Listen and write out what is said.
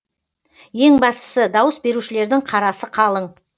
ең бастысы дауыс берушілердің қарасы қалың